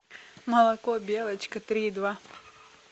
молоко белочка три и два